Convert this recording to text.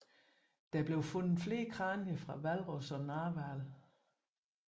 Der blev fundet flere kranier fra hvalros og narhval